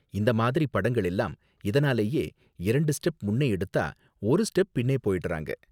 இந்த மாதிரி படங்கள் எல்லாம் இதனாலேயே இரண்டு ஸ்டெப் முன்னே எடுத்தா ஒரு ஸ்டெப் பின்னே போயிடுறாங்க.